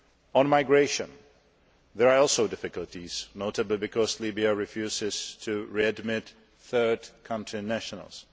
On migration there are also difficulties, notably because Libya refuses to readmit third country nationals.